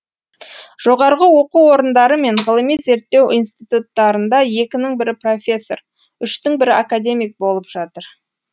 жоғарғы оқу орындары мен ғылыми зерттеу институттарында екінің бірі профессор үштің бірі академик болып жатыр